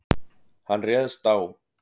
Hann réðst á